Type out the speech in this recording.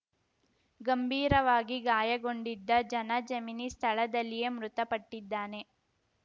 ಗಂಭೀರವಾಗಿ ಗಾಯಗೊಂಡಿದ್ದ ಜನಜೆಮಿನಿ ಸ್ಥಳದಲ್ಲಿಯೇ ಮೃತಪಟ್ಟಿದ್ದಾನೆ